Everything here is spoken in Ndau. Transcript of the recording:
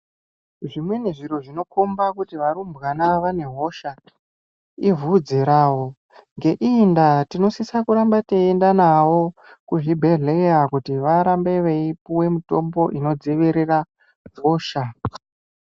Zvimweni zviro zvinokomba kuti varumbwana vane hosha ibvudzi ravo ngeiyindaa tinosise kuramba teiendanavo kuzvibhehleya kuti varambe veipiwe mitombo inodzirire hosha.